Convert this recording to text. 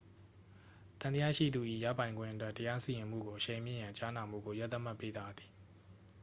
သံသယရှိသူ၏ရပိုင်ခွင့်အတွက် တရားစီရင်မှုကိုအရှိန်မြှင့်ရန် ကြားနာမှုကို ရက်သတ်မှတ်ပေးပါသည်